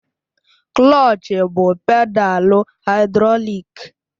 Klọch bụ pedalu haịdrọlik